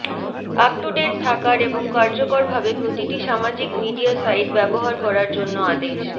up to ডেট থাকার এবং কার্যকরভাবে প্রতিটি সামাজিক মিডিয়া সাইট ব্যবহার করার জন্য আদেশ